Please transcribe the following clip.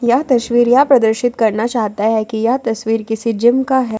यह तस्वीर यह प्रदर्शित करना चाहता है कि यह तस्वीर किसी जिम का है।